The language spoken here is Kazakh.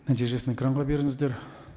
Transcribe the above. нәтижесін экранға беріңіздер